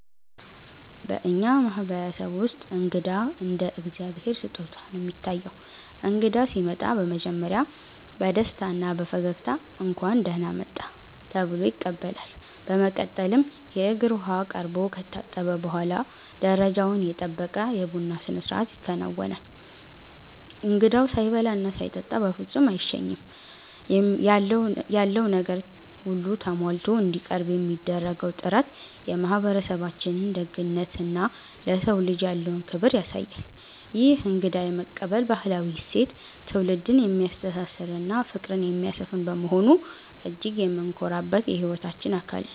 በእኛ ማህበረሰብ ውስጥ እንግዳ እንደ እግዚአብሔር ስጦታ ነው የሚታየው። እንግዳ ሲመጣ በመጀመሪያ በደስታና በፈገግታ 'እንኳን ደህና መጣህ' ተብሎ ይቀበላል። በመቀጠልም የእግር ውሃ ቀርቦ ከታጠበ በኋላ፣ ደረጃውን የጠበቀ የቡና ስነስርዓት ይከናወናል። እንግዳው ሳይበላና ሳይጠጣ በፍጹም አይሸኝም። ያለው ነገር ሁሉ ተሟልቶ እንዲቀርብ የሚደረገው ጥረት የማህበረሰባችንን ደግነትና ለሰው ልጅ ያለውን ክብር ያሳያል። ይህ እንግዳ የመቀበል ባህላዊ እሴት ትውልድን የሚያስተሳስርና ፍቅርን የሚያሰፍን በመሆኑ እጅግ የምንኮራበት የህይወታችን አካል ነው።